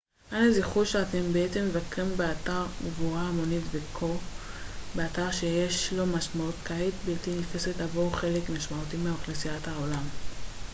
אנא זכרו שאתם בעצם מבקרים באתר קבורה המונית וכן באתר שיש לו משמעות כמעט בלתי נתפסת עבור חלק משמעותי מאוכלוסיית העולם